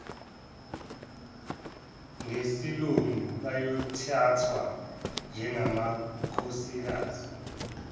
ngesilungu bayothathwa njengamakhosikazi